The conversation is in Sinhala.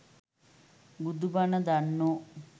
බුදු බණ දන්නෝ